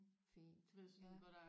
Fint ja